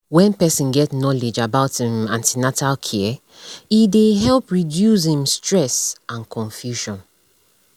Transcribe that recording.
wen person get knowledge about um an ten atal caree um dey help reduce um stress and confusion